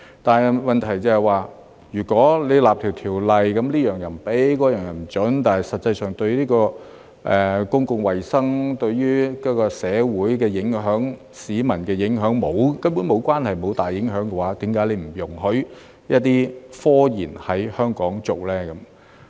但是，問題是，如果訂立一項法例，這樣不准、那樣又不准，但實際上卻跟公共衞生、社會的影響、市民的影響根本無關，根本沒有大影響的話，為何不容許一些科研在香港進行呢？